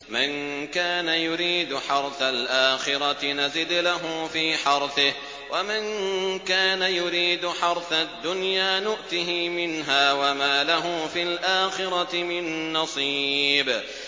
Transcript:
مَن كَانَ يُرِيدُ حَرْثَ الْآخِرَةِ نَزِدْ لَهُ فِي حَرْثِهِ ۖ وَمَن كَانَ يُرِيدُ حَرْثَ الدُّنْيَا نُؤْتِهِ مِنْهَا وَمَا لَهُ فِي الْآخِرَةِ مِن نَّصِيبٍ